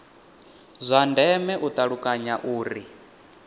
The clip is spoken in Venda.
zwa ndeme u ṱalukanya uri